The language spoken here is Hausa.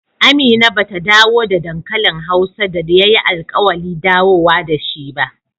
Amina ba ta dawo da dankalin hausa da ya yi alkawali dawowa da shi ba